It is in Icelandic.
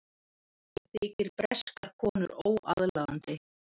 Þykir breskar konur óaðlaðandi